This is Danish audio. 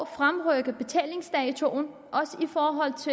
2